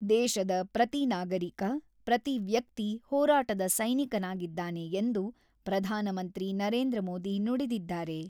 ದೇಶದ ಪ್ರತಿ ನಾಗರಿಕ, ಪ್ರತಿ ವ್ಯಕ್ತಿ ಹೋರಾಟದ ಸೈನಿಕನಾಗಿದ್ದಾನೆ ಎಂದು ಪ್ರಧಾನಮಂತ್ರಿ ನರೇಂದ್ರ ಮೋದಿ ನುಡಿದಿದ್ದಾರೆ.